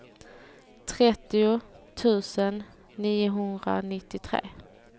trettio tusen niohundranittiotre